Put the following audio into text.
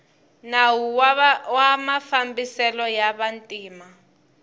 nawu wa mafambiselo ya vantima